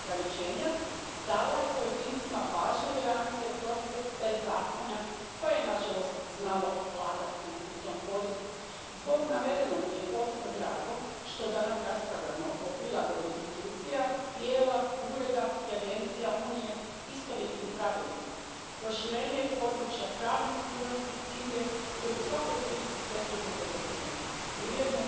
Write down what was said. erleichtern den Datenaustausch. Wir hätten uns gewünscht, dass dieses Kapitel von Anfang an auch für Europol und die Europäische Staatsanwaltschaft gilt, nicht nur für Eurojust. Wir fordern daher die Kommission auf, die Anpassung sobald wie möglich vorzulegen. Ich möchte meinen Dank aussprechen für die gute Zusammenarbeit, besonders im Namen von Jan Philipp Albrecht, der das hier noch für unsere Fraktion verhandelt hat.